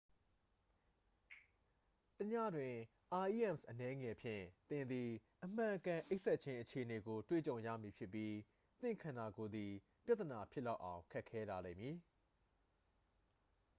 တစ်ညလျှင် rems အနည်းငယ်ဖြင့် သင်သည် အမှန်အကန် အိပ်စက်ခြင်းအခြေအနေကို တွေ့ကြုံရမည်ဖြစ်ပြီး သင့်ခန္တာကိုယ်သည် ပြဿနာဖြစ်လောက်အောင် ဖြစ်ခဲလာလိမ့်မည်